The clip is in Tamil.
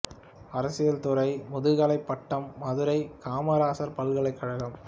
அரசியல் துறை முதுகலைப் பட்டம் மதுரை காமராசர் பல்கலைக் கழகம்